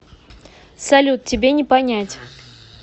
салют тебе не понять